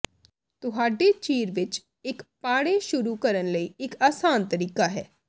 ਤੁਹਾਡੇ ਚੀਰ ਵਿਚ ਇਕ ਪਾੜੇ ਸ਼ੁਰੂ ਕਰਨ ਲਈ ਇਕ ਆਸਾਨ ਤਰੀਕਾ ਹੈ